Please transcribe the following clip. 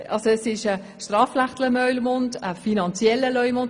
Ist es ein strafrechtlicher oder ein finanzieller Leumund?